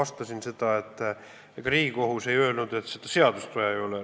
Ma vastasin, et ega Riigikohus ei öelnud, et seda seadust ei ole vaja.